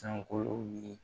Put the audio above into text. Sankolow ye